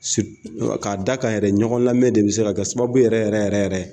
sir ka da kan yɛrɛ ɲɔgɔn lamɛ de be se ka sababu yɛrɛ yɛrɛ yɛrɛ yɛrɛ